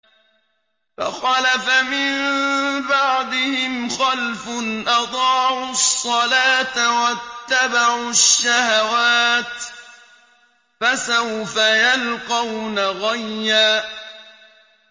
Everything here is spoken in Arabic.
۞ فَخَلَفَ مِن بَعْدِهِمْ خَلْفٌ أَضَاعُوا الصَّلَاةَ وَاتَّبَعُوا الشَّهَوَاتِ ۖ فَسَوْفَ يَلْقَوْنَ غَيًّا